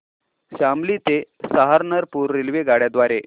शामली ते सहारनपुर रेल्वेगाड्यां द्वारे